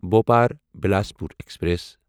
Bhopal Bilaspur express